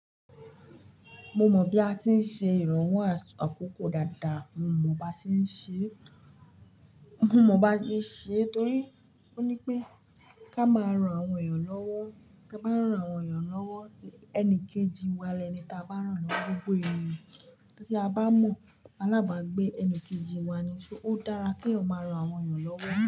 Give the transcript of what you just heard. Mo mọ bí a ti ń ṣe ìrànwọ́ àkókò dáadáa, mo mọ bá ṣé ń ṣe, mo mọ bá ṣé ń ṣe torí ó ní pé ká máa rán àwọn èèyàn lọ́wọ́, tá bá rán àwọn èèyàn lọ́wọ́, ẹni kejì wá lẹ ni tí a bá rán lọ gbogbo èèyàn. Tí a bá mọ̀ aláàbágbé ẹni kejì wá ni, so ó dára kí èèyàn máa rán àwọn èèyàn lọ́wọ́